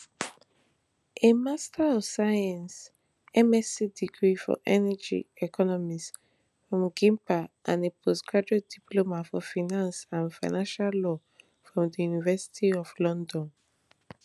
a master of science msc degree for energy economics from gimpa and a postgraduate diploma for finance and financial law from di university of london